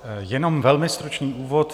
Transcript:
Jenom velmi stručný úvod.